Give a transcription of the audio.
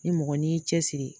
Ni mɔgɔ n'i y'i cɛsiri